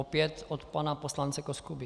Opět od pana poslance Koskuby.